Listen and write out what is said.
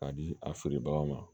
K'a di a feerebagaw ma